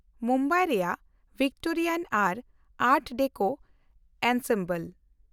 ᱢᱩᱢᱵᱟᱭ ᱨᱮᱭᱟᱜ ᱵᱷᱤᱠᱴᱳᱨᱤᱭᱟᱱ ᱟᱨ art deco ensemble